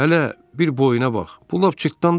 Hələ bir boyuna bax, bu lap cırtdandı ki.